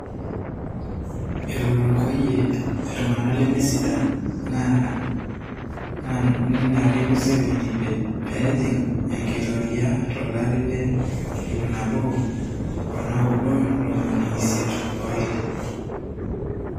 Etorikoyie ltunganak lemesidan ,na neret Museveni pejing enkitoria tolari le ipnabo onaudo ntomoni isiet woile.